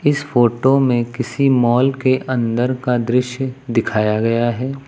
इस फोटो में किसी मॉल के अंदर का दृश्य दिखाया गया है।